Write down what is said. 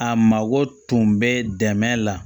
A mago tun bɛ dɛmɛ la